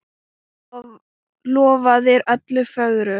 Lofaðir öllu fögru!